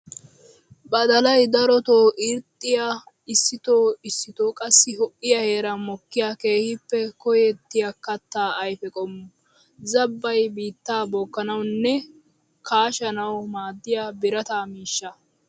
Badalay darotto irxxiya issitto issitto qassi ho'iya heeran mokkiya keehippe koyettiya katta ayfe qommo. Zaabbay biittaa bookanawunne kaashshanawu maadiya birata miishsha.